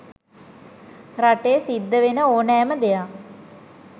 රටේ සිද්ධ වෙන ඕනෑම දෙයක්